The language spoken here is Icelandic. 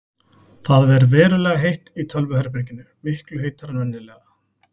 Það ver verulega heitt í tölvuherberginu, miklu heitara en venjulega.